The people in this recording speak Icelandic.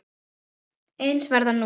Eins verður nú.